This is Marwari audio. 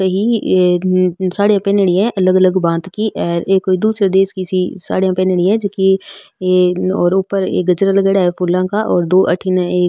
अ साडिया पहनडी है अलग अलग भांत की अर ये कोई दूसरे देश की सी साडिया पहनडी है जेकी और ऊपर ये गजरा लगाएडॉ है फुला का और दो अठीन एक --